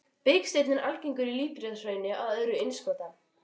Biksteinn er algengur í líparíthraunum og á jöðrum innskota.